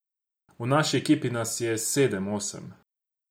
V naši ekipi nas je sedem, osem.